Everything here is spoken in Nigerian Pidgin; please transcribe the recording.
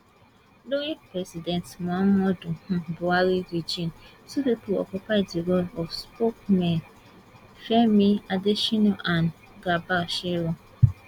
during president muhammadu um buhari regime two pipo occupy di role of spokesman Femi Adesina and Garba Shehu